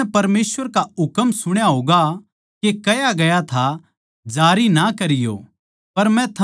थमनै परमेसवर का हुकम सुण्या होगा के कह्या गया था जारी ना करियो